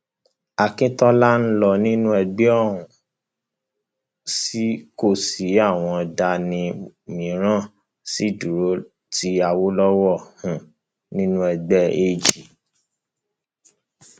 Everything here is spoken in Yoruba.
akíntola lọ nínú ẹgbẹ ó um sì kó àwọn kan dání àwọn mìíràn sì dúró ti awolowo um nínú ẹgbẹ ag